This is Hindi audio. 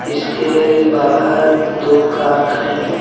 इसके बाहर दो कार खड़ी हैं।